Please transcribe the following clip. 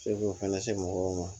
Se k'u fana se mɔgɔw ma